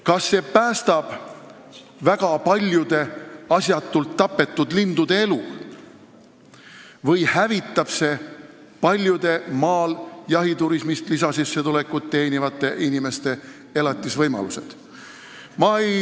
Kas see päästab väga paljude lindude elu, kes muidu asjatult tapetaks, või hävitab see paljude maal jahiturismist lisasissetulekut teenivate inimeste elatusvõimalused?